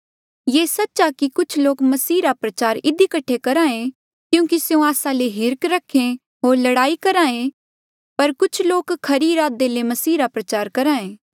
ये सच्च आ की कुछ लोक मसीह रा प्रचार इधी कठे करहा ऐें क्यूंकि स्यों आस्सा ले हीर्ख रखे होर लड़ाई करहे पर कुछ लोक खरी इरादे ले मसीहा रा प्रचार करहा ऐें